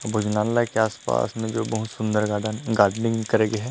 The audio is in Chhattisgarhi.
भोजनालय के आस-पास में जो बहुत सुन्दर गार्डन हे गार्डनिंग करे गे हे।